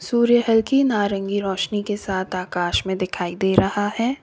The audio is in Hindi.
सूर्य हल्की नारंगी रोशनी के साथ आकाश में दिखाई दे रहा है।